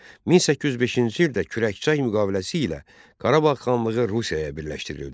1805-ci ildə Kürəkçay müqaviləsi ilə Qarabağ xanlığı Rusiyaya birləşdirildi.